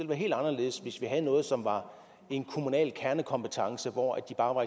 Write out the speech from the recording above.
være helt anderledes hvis vi havde noget som var en kommunal kernekompetence hvor de bare var